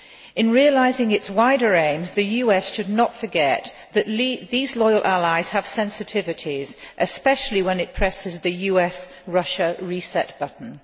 In realising its wider aims, the US should not forget that these loyal allies have sensitivities, especially when it presses the US Russia reset button.